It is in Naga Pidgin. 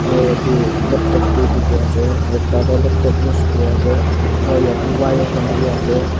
aro yete laptop b diki ase ekta tho laplop use kuri ase aro yete wire kan b ase.